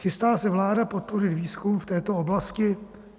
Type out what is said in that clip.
Chystá se vláda podpořit výzkum v této oblasti?